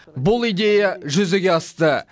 бұл идея жүзеге асты